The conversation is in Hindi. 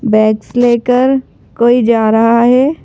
बैग्स लेकर कोई जा रहा है।